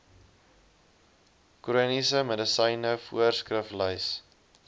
chroniese medisyne voorskriflys